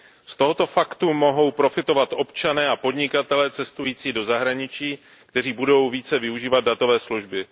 Z tohoto faktu mohou profitovat občané a podnikatelé cestující do zahraničí, kteří budou více využívat datové služby.